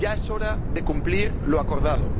Ya es hora de cumplir lo acordado.